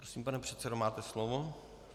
Prosím, pane předsedo, máte slovo.